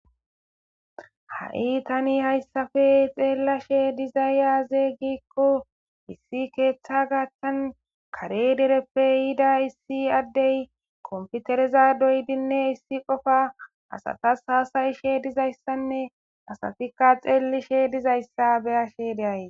ha7i tani hayssape xellashshe dizaya azey gikko issi keeththa gaaththan kare dereppe yiida issi addey komfitereza doydinne issi qofa asatas hasayishshe dizayssanne asatikka xeellishshe dizayssa beyashe de'ays